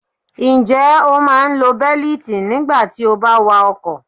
Ǹjẹ́ o máa ń lo bẹ́lítì nígbà tí o bá wa ọkọ̀?